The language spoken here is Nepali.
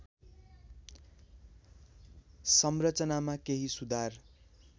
संरचनामा केही सुधार